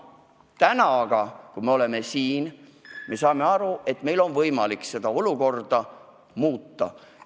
Täna aga oleme me siin ja saame aru, et meil on võimalik seda olukorda muuta.